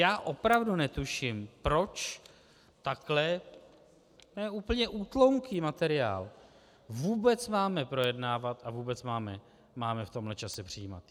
Já opravdu netuším, proč takhle - to je úplně útlounký materiál - vůbec máme projednávat a vůbec máme v tomhle čase přijímat.